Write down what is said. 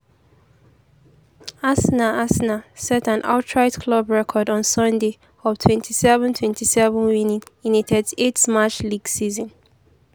arsenal arsenal set an outright club record on sunday of 27 27 winning in a 38-match league season.